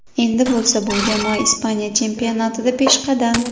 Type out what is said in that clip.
Endi bo‘lsa bu jamoa Ispaniya chempionatida peshqadam.